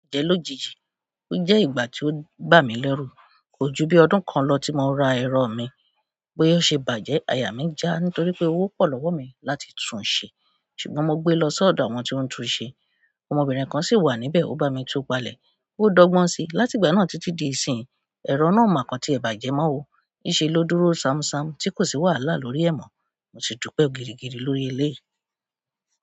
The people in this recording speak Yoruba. Je lójijì oje ìgbà ti o bami leru. Kò ju bí ọdún kan lọ tí mo ra ẹ̀rọ mi, bóyá ó ṣe bàjẹ́, àyà mí já nítorí pé owó pọ̀ lọ́wọ́ mi láti tún ṣe. Ṣùgbọ́n mo gbé lọ sọ́dọ̀ àwọn tí ó ń tun ṣe, ọmọbìnrin kan sì wà níbẹ̀, ó bá mi tú palẹ̀. Ó dọ́gbọ́n si, látìgbà náà títí di ìsín, ẹ̀rọ náà ò mọa kán tí ẹ bàjẹ́ mọ́ o. Ni se lo dúró samsam ti ko si wàhálà lórí e mo. Mo si dupe gidigidi lórí eleyi.